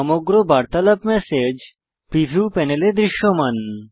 সমগ্র বার্তালাপ message preview প্যানেলে দৃশ্যমান